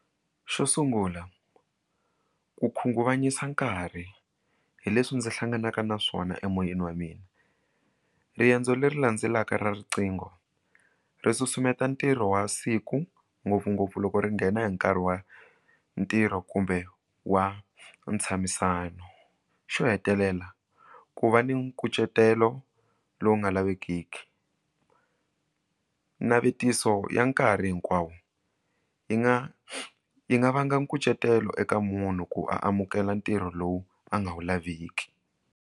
Xo sungula ku khunguvanyisa nkarhi hi leswi ndzi hlanganaka na swona emoyeni wa mina riendzo leri landzelaka ra riqingho ri susumeta ntirho wa siku ngopfungopfu loko ri nghena hi nkarhi wa ntirho kumbe wa ntshamisano xo hetelela ku va ni nkucetelo lowu nga lavekeki navetiso ya nkarhi hinkwawo yi nga yi nga vanga nkucetelo eka munhu ku amukela ntirho lowu a nga wu laveki.